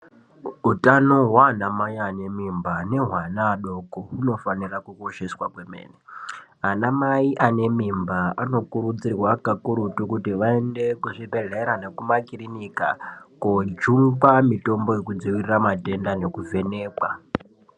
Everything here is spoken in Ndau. Utano hwana mai anemimba nehwevana vadoko unofanira kukosheswa kwemene. Anamai anemimba anokurudzirwa kakurutu kuti vaende kuzvibhedhlera nekumakirinika kojungwa mitombo yekudzivirira matenda nekuvhenekwa.